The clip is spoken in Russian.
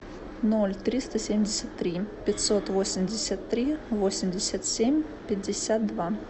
ноль триста семьдесят три пятьсот восемьдесят три восемьдесят семь пятьдесят два